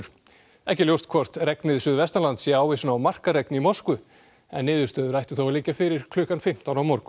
ekki er ljóst hvort regnið suðvestanlands sé ávísun á markaregn í Moskvu en niðurstöður ættu þó að liggja fyrir klukkan fimmtán á morgun